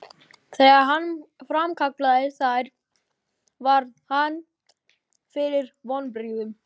Þegar hann framkallaði þær varð hann fyrir vonbrigðum.